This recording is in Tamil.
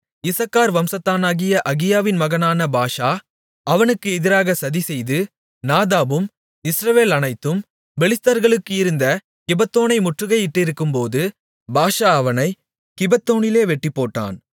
இசக்கார் வம்சத்தானாகிய அகியாவின் மகனான பாஷா அவனுக்கு எதிராகக் சதிசெய்து நாதாபும் இஸ்ரவேலனைத்தும் பெலிஸ்தர்களுக்கு இருந்த கிபெத்தோனை முற்றுகை இட்டிருக்கும்போது பாஷா அவனைக் கிபெத்தோனிலே வெட்டிப்போட்டான்